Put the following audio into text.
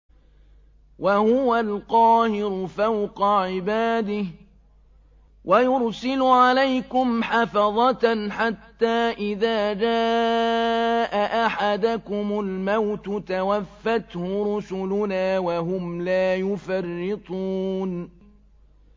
وَهُوَ الْقَاهِرُ فَوْقَ عِبَادِهِ ۖ وَيُرْسِلُ عَلَيْكُمْ حَفَظَةً حَتَّىٰ إِذَا جَاءَ أَحَدَكُمُ الْمَوْتُ تَوَفَّتْهُ رُسُلُنَا وَهُمْ لَا يُفَرِّطُونَ